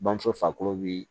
Bamuso farikolo bi